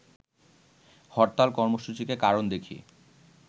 হরতাল কর্মসূচিকে কারণ দেখিয়ে